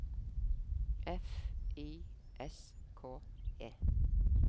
F I S K E